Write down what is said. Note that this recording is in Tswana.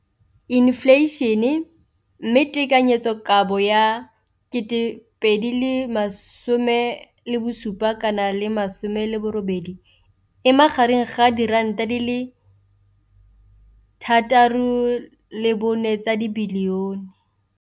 Infleišene, mme tekanyetsokabo ya 2017, 18, e magareng ga R6.4 bilione.